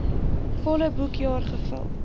volle boekjaar gevul